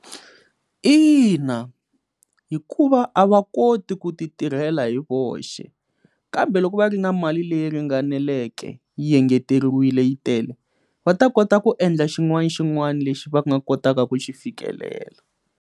Ina hikuva a va koti ku ti tirhela hi voxe kambe loko va ri na mali leyi ringaneleke yi engeteriwile yi tele va ta kota ku endla xin'wana xin'wani lexi va nga kotaka ku xi fikelela.